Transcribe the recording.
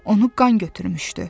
Onu qan götürmüşdü.